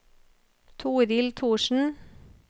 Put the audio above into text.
Torhild Thorsen